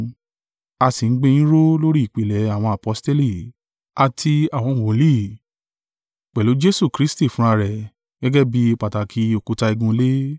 a sì ń gbé yín ró lórí ìpìlẹ̀ àwọn aposteli, àti àwọn wòlíì, pẹ̀lú Jesu Kristi fúnra rẹ̀ gẹ́gẹ́ bí pàtàkì òkúta igun ilé.